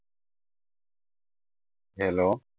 hello